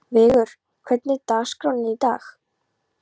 Vigur, hvernig er dagskráin í dag?